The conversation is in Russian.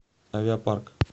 авиапарк